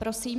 Prosím.